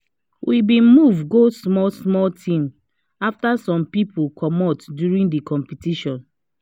we been move go small small teams after some people comot during the competition